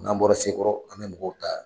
N'an bɔra Sekɔrɔ, an bɛ mɔgɔw ta.